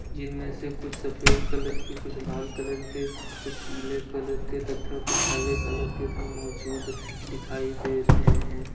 जिनमें से कुछ सफेद कलर के कुछ लाल कलर के कुछ पीले कलर तथा कुछ हले कलर के भी मौजूद दिखाई दे रहे हैं।